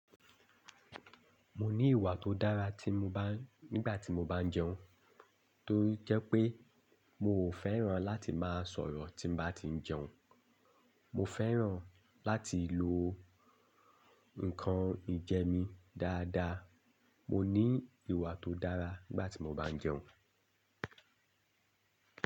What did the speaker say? Mo ní ìwà tó dára tí mo bá, nígbà tí mo bá ń jẹun. Tó jẹ́ pé mi ò fẹ́ràn láti máa sọ̀rọ̀ tí bá ti ń jẹun. Mo fẹ́ràn láti lo nǹkan ìjẹ mí dáadáa. Mo ní ìwà tó dára nígbà tí mo bá ń jẹun.